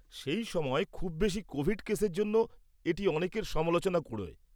সেই সময়ে খুব বেশি কোভিড কেসের জন্য এটি অনেকের সমালোচনা কুড়োয়।